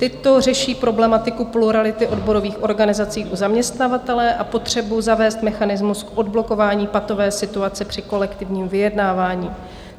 Tyto řeší problematiku plurality odborových organizací u zaměstnavatele a potřebu zavést mechanismus k odblokování patové situace při kolektivním vyjednávání.